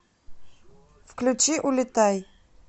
включи улетай